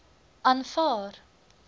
aanvaar